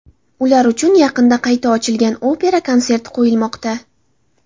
Ular uchun yaqinda qayta ochilgan opera konserti qo‘yilmoqda.